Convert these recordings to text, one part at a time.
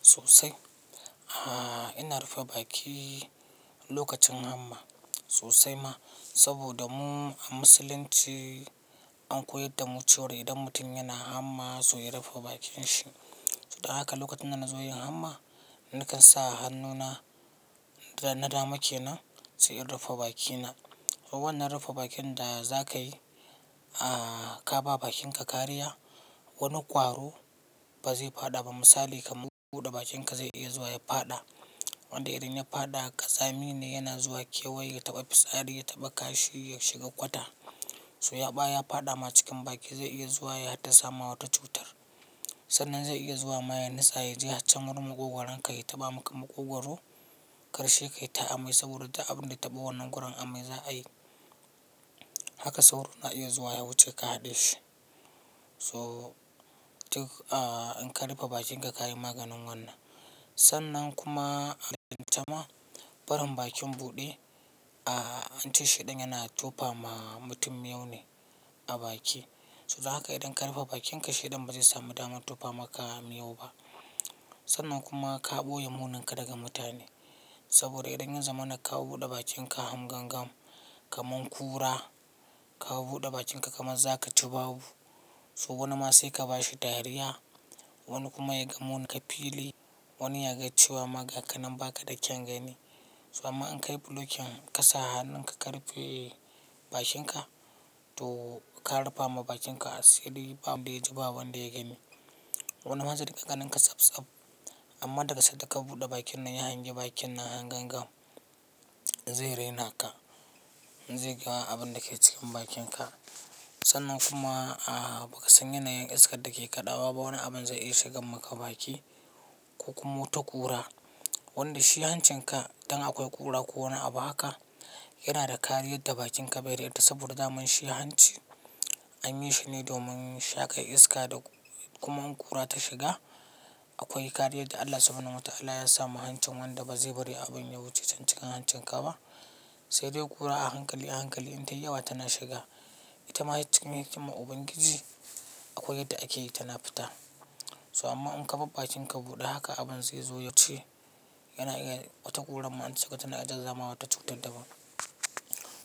Sosai, ina rufe baki lokacin hamma sosai ma. Saboda mu a musulunci, an koyar da mu cewa idan mutum yana hamma, to ya rufe bakin shi. Dan haka lokacin da na zo yin hamma, nakan sa hannuna na dama kenan, sai in rufe bakina. Wannan rufa bakin da za ka yi, ka ba bakinka kariya. Wani kwaro ba zai faɗa ba. Misali ka buɗe bakinka zai iya zuwa ya faɗa. Wanda idan ya faɗa, ƙaza mine yana zuwa kewaye ya taɓa fitsari, ya taɓa kashi, ya shiga kwata. To in ya faɗa ma cikin baki zai iya zuwa ya hadda sama wata cutar. Sannan zai iya zuwa ma ya nitsa yaje haccen wurin maƙogoran ka ya taɓa maka maƙogoro. Karshe kai ta amai saboda abun da taɓa wannan goron amai za a yi. Haka sauro na iya zuwa ya wuce ka haɗe shi. To in ka rufe bakinka ka yi maganin wannan. Sannan kuma a taƙaice ma, barin bakin buɗe, ance shedan yana tofa ma mutum miyay ne a baki. To yanzu haka idan ka rufe bakinka shedan ba zai samu damar tofa maka miyau ba. Sannan kuma ka ɓoye muninka daga mutane. Saboda idan yan zamana ka buɗe bakinka han gangan kaman kura, ka buɗe bakinka kaman za ka ci babu. So wani ma sai ka ba shi dariya. Wani kuma ya ga muninka fili, wani ya ga cewa ma gaka nan baka da kyan gani. To amma in ka yi blocking ka sa hannunka ka rufe bakinka to ka rufa ma bakinka asiri ba wanda ya ji ba wanda ya gani. Wani ma zai dinga ganin ka tsab tsab. Amma daga sanda ka buɗe bakin nan ya hanga bakin nan han gan gam, zai raina ka. Zai ga abin da ke cikin bakinka. Sannan kuma bakasan yanayin iskan da ke kaɗawa ba wani abun zai iya shigan maka baki ko kuma wata kura. Wanda shi hancinka idan akwai kura ko wani abu haka, yana da kariya da bakinka baze riƙe ta saboda daman shi ya hanci. An yi shi ne domin sha kan iska kuma in kura ta shiga akwai kariyan da Allah subhanahu wa ta'ala ya sa ma hancin wanda ba zai bari abin ya wuce can cikin hancinka ba. Sai dai kura a hankali a hankali in tai yawa tana shiga. Ita ma cikin hikiman ubangiji akwai yadda ake yi tana fita. To amma in kaɓa bakinka buɗe haka abun zai zo ya wuce. Yana iya wata kuran ma inta shiga tana iya zama wata cuta daban.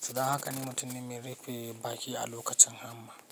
To don haka ni mutum ne mai rufe baki a lokacin hamma.